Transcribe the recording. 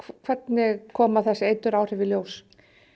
hvernig koma þessu eituráhrif í ljós